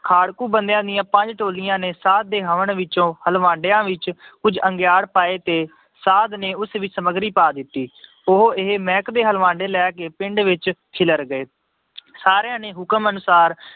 ਖਾੜਕੂੂ ਬੰਦਿਆਂ ਦੀਆਂ ਪੰਜ ਟੋਲੀਆਂ ਨੇ ਸਾਧ ਦੇ ਹਵਨ ਵਿੱਚੋਂ ਹਲਵਾਂਡਿਆਂ ਵਿੱਚ ਕੁੱਝ ਅੰਗਿਆੜ ਪਾਏ ਤੇ ਸਾਧ ਨੇ ਉਸ ਵਿੱਚ ਸਮੱਗਰੀ ਪਾ ਦਿੱਤੀ ਉਹ ਇਹ ਮਿਹਕ ਦੇ ਹਲਵਾਂਡੇ ਲੈ ਕੇ ਪਿੰਡ ਵਿੱਚ ਖਿਲਰ ਗਏ ਸਾਰਿਆਂ ਨੇ ਹੁਕਮ ਅਨੁਸਾਰ